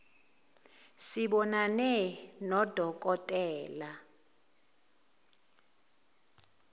sibonane nodo kotela